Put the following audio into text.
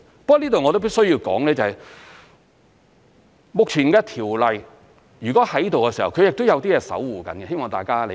不過這裏我亦必須要說，目前的條例，如果存在，它亦是有些東西在守護着，希望大家理解。